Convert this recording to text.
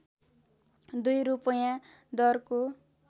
दुई रूपैयाँ दरको